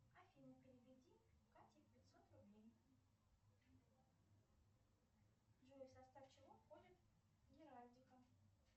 афина переведи кате пятьсот рублей джой в состав чего входит геральдика